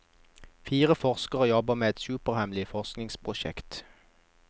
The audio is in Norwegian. Fire forskere jobber med et superhemmelighet forskningsprosjekt.